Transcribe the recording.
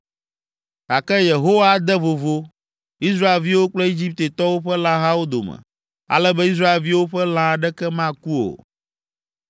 Gake Yehowa ade vovo Israelviwo kple Egiptetɔwo ƒe lãhawo dome, ale be Israelviwo ƒe lã aɖeke maku o.’ ”